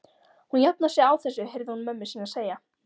Hún jafnar sig á þessu heyrði hún mömmu sína segja.